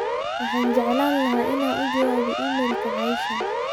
waxaan jeclaan laha in aan u jawaabo iimaylka asha